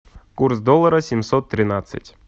курс доллара семьсот тринадцать